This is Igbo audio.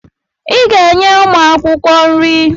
I ga-enye ụmụ akwụkwọ nri!